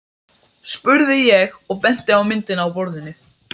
spurði ég og benti á myndina á borðinu.